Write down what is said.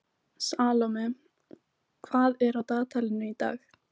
Salome, hvað er á dagatalinu í dag?